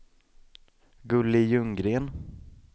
Gulli Ljunggren